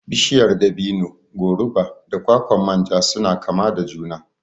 Bishiyar dabino, goruba da kwakwan manja suna kama da juna